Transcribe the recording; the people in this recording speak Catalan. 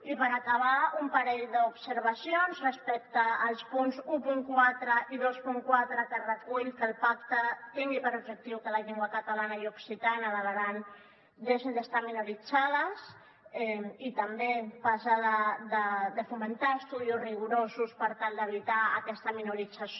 i per acabar un parell d’observacions respecte als punts catorze i vint quatre que recullen que el pacte tingui per objectiu que la llengua catalana i occitana a l’aran deixin d’estar minoritzades i també parlen de fomentar estudis rigorosos per tal d’evitar aquesta minorització